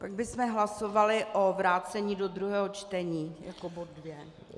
Pak bychom hlasovali o vrácení do druhého čtení, jako bod dvě.